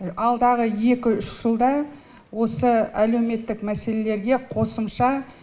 алдағы екі үш жылда осы әлеуметтік мәселелерге қосымша